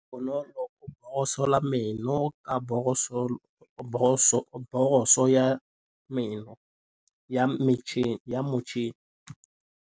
Bonolô o borosola meno ka borosolo ya motšhine.